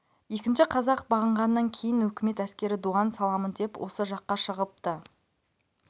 екінші қазақ бағынғаннан кейін өкімет әскері дуан саламын деп осы жаққа шығыпты